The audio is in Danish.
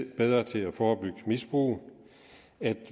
bedre til at forebygge misbrug at